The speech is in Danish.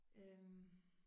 Øh